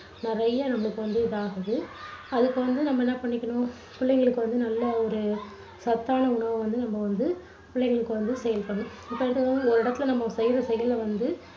நிறைய நமக்கு வந்து இதாகுது. அதுக்கு வந்து நம்ம என்ன பண்ணிக்கணும் புள்ளைங்களுக்கு வந்து நல்ல ஒரு சத்தான உணவை நம்ம வந்து புள்ளைங்களுக்கு வந்து சேர்க்கணும். ஓரு இடத்துல நம்ப செய்யுற செயலை வந்து